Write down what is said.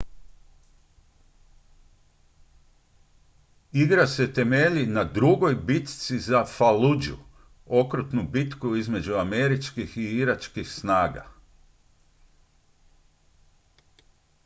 igra se temelji na drugoj bitci za falluju okrutnu bitku između američkih i iračkih snaga